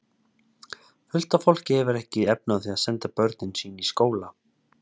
Fullt af fólki hefur ekki efni á því að senda börnin sín í skóla.